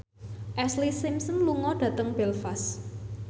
Ashlee Simpson lunga dhateng Belfast